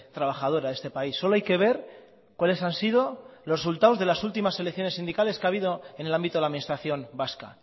trabajadora de este país solo hay que ver cuáles han sido los resultados de las últimas elecciones sindicales que ha habido en el ámbito de la administración vasca